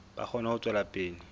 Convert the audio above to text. ba kgone ho tswela pele